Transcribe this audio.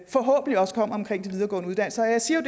forhåbentlig også kommer om de videregående uddannelser jeg siger